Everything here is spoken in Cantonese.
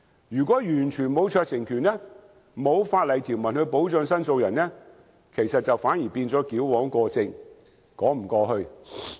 如果完全沒有酌情權，沒有法例條文保障申訴人，反而是矯枉過正，說不過去。